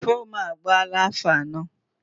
Fomu a agbala afọ anọ